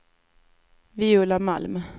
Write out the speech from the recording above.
Viola Malm